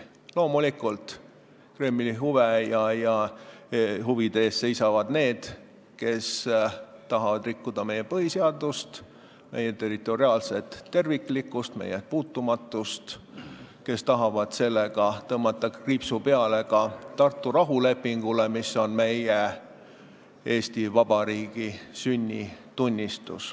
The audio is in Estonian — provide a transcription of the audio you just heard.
Loomulikult, Kremli huvide eest seisavad need, kes tahavad rikkuda meie põhiseadust, meie territoriaalset terviklikkust, meie puutumatust, kes tahavad sellega tõmmata kriipsu peale ka Tartu rahulepingule, mis on Eesti Vabariigi sünnitunnistus.